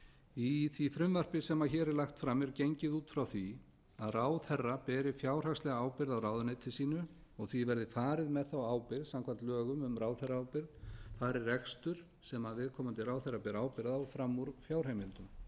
í því frumvarpi sem hér er lagt fram er gengið út frá því að ráðherra beri fjárhagslega ábyrgð á ráðuneyti sínu og því verði farið með þá ábyrgð samkvæmt lögum um ráðherraábyrgð fari rekstur sem viðkomandi ráðherra ber ábyrgð á fram úr fjárheimildum